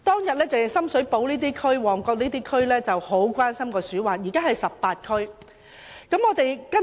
往日深水埗、旺角區很關心鼠患問題，如今18區都很關心。